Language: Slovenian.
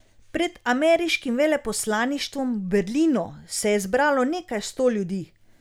Pred ameriškim veleposlaništvom v Berlinu se je zbralo nekaj sto ljudi.